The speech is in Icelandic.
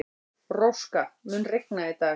Róska, mun rigna í dag?